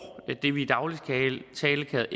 det vi i daglig tale kalder